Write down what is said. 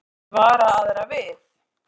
Vill vara aðra við